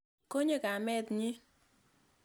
Konyo kamet nyi.